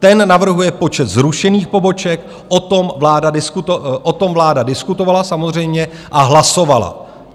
Ten navrhuje počet zrušených poboček, o tom vláda diskutovala samozřejmě a hlasovala.